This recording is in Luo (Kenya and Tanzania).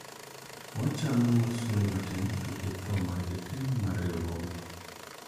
wachano mar solo matin nikech tho mar jakeno mar riwruogno